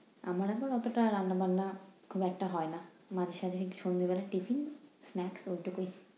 আমার আবার অতোটা রান্না-বান্না খুব একটা হয়না। মাঝে সাঁঝে সন্ধ্যেবেলা tiffin, snacks ওইটুকুই।